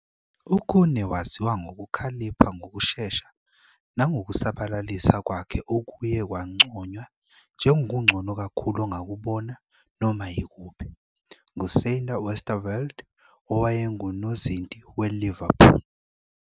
UKhune waziwa ngokukhalipha ngokushesha nangokusabalalisa kwakhe okuye kwanconywa "njengokungcono kakhulu ongakubona noma yikuphi" nguSander Westerveld owayengunozinti weLiverpool.